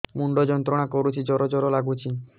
ମୁଣ୍ଡ ଯନ୍ତ୍ରଣା କରୁଛି ଜର ଜର ଲାଗୁଛି